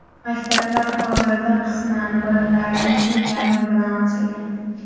Maktablar hozirda qisman, bolalarning teng yarmi bilan ochilgan.